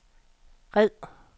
red